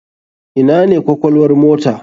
Ina ne kwakwalwar mota?